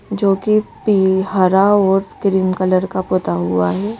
जो कि पी हरा और क्रीम कलर का पुता हुआ है।